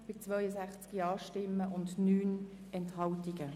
Gibt es dazu Wortmeldungen?